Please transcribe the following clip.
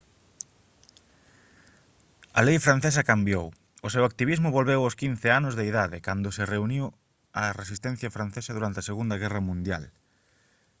a lei francesa cambiou o seu activismo volveu aos 15 anos de idade cando se uniu á resistencia francesa durante a segunda guerra mundial